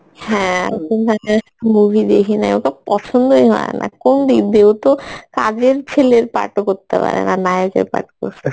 হ্যাঁ, movie দেখিনাই ওকে পছন্দই হয়না কোনদিক দিয়ে ও তো কাজের ছেলের part ও করতে পারেনা নায়কের part করসে